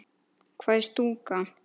Hvað er stúka?